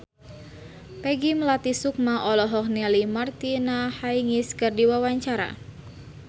Peggy Melati Sukma olohok ningali Martina Hingis keur diwawancara